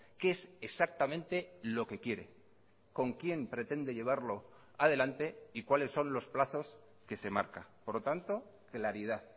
qué es exactamente lo que quiere con quién pretende llevarlo adelante y cuáles son los plazos que se marca por lo tanto claridad